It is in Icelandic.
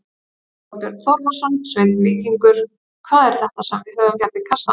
Þorbjörn Þórðarson: Sveinn Víkingur, hvað er þetta sem við höfum hérna í kassanum?